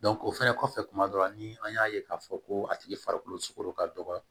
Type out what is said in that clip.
o fɛnɛ kɔfɛ kuma dɔ la ni an y'a ye k'a fɔ ko a tigi farikolo sugoro ka dɔgɔ